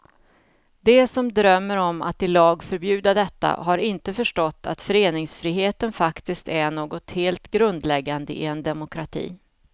De som drömmer om att i lag förbjuda detta har inte förstått att föreningsfriheten faktiskt är något helt grundläggande i en demokrati.